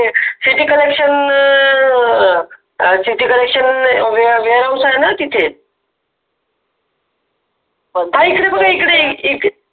city connection हा इकडे बघा इकडे